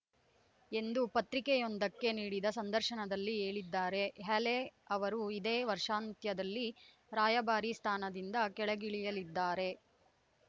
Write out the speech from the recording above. ಎಂದು ಪತ್ರಿಕೆಯೊಂದಕ್ಕೆ ನೀಡಿದ ಸಂದರ್ಶನದಲ್ಲಿ ಹೇಳಿದ್ದಾರೆ ಹ್ಯಾಲೆ ಅವರು ಇದೇ ವರ್ಷಾಂತ್ಯದಲ್ಲಿ ರಾಯಭಾರಿ ಸ್ಥಾನದಿಂದ ಕೆಳಗಿಳಿಯಲಿದ್ದಾರೆ